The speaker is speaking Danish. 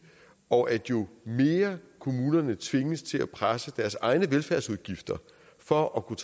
og jo mere kommunerne tvinges til at presse deres egne velfærdsudgifter for at kunne